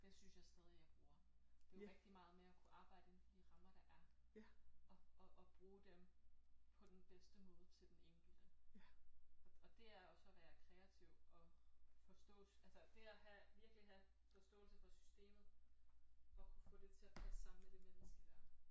Det synes jeg stadig jeg bruger det er jo rigtig meget med at kunne arbejde inden for de rammer der er og og og bruge dem på den bedste måde til den enkelte og og det også at være kreativ og forstå altså det at have virkelig have forståelse for systemet og kunne få det til at passe sammen med det menneske dér